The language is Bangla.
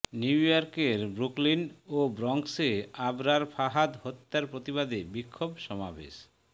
নিউইয়র্কের ব্রুকলিন ও ব্রঙ্কসে আবরার ফাহাদ হত্যার প্রতিবাদে বিক্ষোভ সমাবেশ